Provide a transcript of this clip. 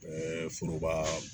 Ɛɛ foroba